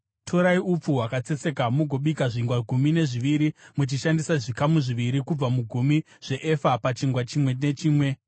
“Torai upfu hwakatsetseka mugobika zvingwa gumi nezviviri muchishandisa zvikamu zviviri kubva mugumi zveefa pachingwa chimwe nechimwe.